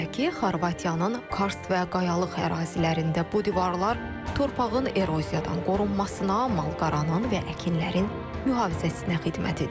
Belə ki, Xorvatiyanın karst və qayalıq ərazilərində bu divarlar torpağın erozivdən qorunmasına, malqaranın və əkinlərin mühafizəsinə xidmət edib.